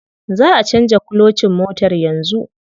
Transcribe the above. Za'a canza kulocin motar yanzu.